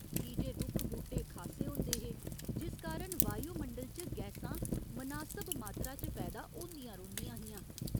कीजे रुक्ख बूह्टे खासे होंदे हे जिस कारण वायुमंडल च गैसां मनासब मात्रा च पैदा होंदियां रौंह्दियां हियां।